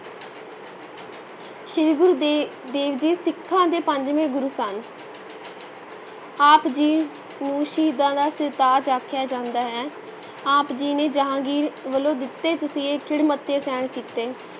ਸ੍ਰੀ ਗੁਰੂ ਦੇ~ ਦੇਵ ਜੀ ਸਿੱਖਾਂ ਦੇ ਪੰਜਵੇਂ ਗੁਰੂ ਸਨ ਆਪ ਜੀ ਨੂੰ ਸ਼ਹੀਦਾਂ ਦੇ ਸਿਰਤਾਜ ਆਖਿਆ ਜਾਂਦਾ ਹੈ, ਆਪ ਜੀ ਨੇ ਜਹਾਂਗੀਰ ਵੱਲੋਂ ਦਿੱਤੇ ਤਸੀਹੇ ਖਿੜੇ ਮੱਥੇ ਸਹਿਣ ਕੀਤੇ।